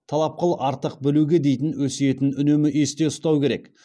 талап қыл артық білуге дейтін өсиетін үнемі есте ұстау керек